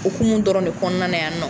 okumu dɔrɔn de kɔnɔna na yan nɔ.